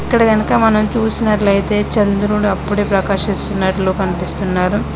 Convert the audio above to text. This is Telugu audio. ఇక్కడ గనక మనం చుసినట్లయితే చంద్రుడు అప్పుడే ప్రకసిస్తున్నట్టు కనిపిస్తున్నారు.